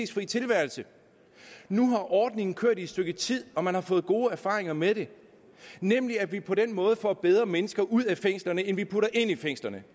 tilværelse nu har ordningen kørt i et stykke tid og man har fået gode erfaringer med den nemlig at vi på den måde får bedre mennesker ud af fængslerne end vi putter ind i fængslerne